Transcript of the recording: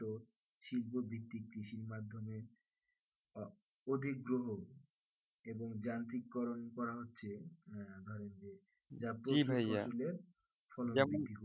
অধিক গ্রহ এবং যান্ত্রিক করণ বা হচ্ছে আহ ধরেন যে ফলন বৃদ্ধি